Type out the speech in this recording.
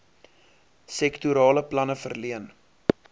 sektorale planne verleen